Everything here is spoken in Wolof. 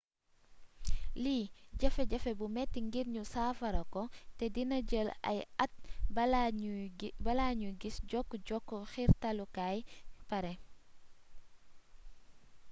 lii jafe jafe bu metti ngir ñu saafarako te dina jël ay at bala ñu giss jokk-jokk xiirtalukaay pare